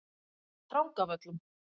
Drangavöllum